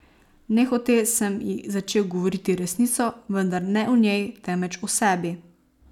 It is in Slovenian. Nehote sem ji začel govoriti resnico, vendar ne o njej, temveč o sebi.